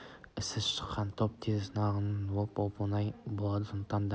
есі шыққан топ тез нанғыш келеді әрі оны оп-оңай ырыққа көндіріп алып кетуге болады сондықтан да